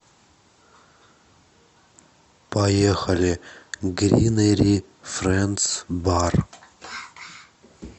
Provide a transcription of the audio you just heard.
поехали гринери фрэндс бар